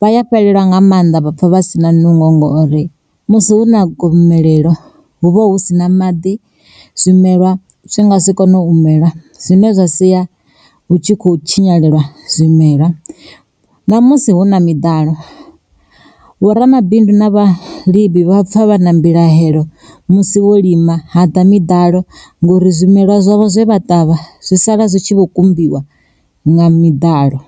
Vha ya fhelelwa nga maanḓa vhapfa vha si na nungo ngori, musi hu na gomelelo hu vha hu sina maḓi zwimelwa zwi nga si kone u mela zwine zwa sia hu tshi khou tshinyalelwa zwimela. Namusi huna miḓalo vho ramabindu na vhalimi vha pfa vha na mbilahelo musi vho lima hada miḓalo ngori zwimelwa zwavho zwe vha ṱavha zwi sala zwi tshi vho kumbiwa nga miḓalo.